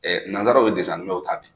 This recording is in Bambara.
nansaraw ye ta bi.